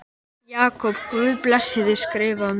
Jakob Guð blessi þig Skrifaðu mér.